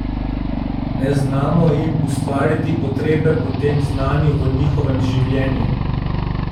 Ne znamo jim ustvariti potrebe po tem znanju v njihovem življenju!